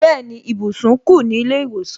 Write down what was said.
Bẹẹni, ibùsùn ku ni ile iwosan